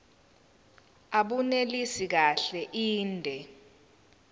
abunelisi kahle inde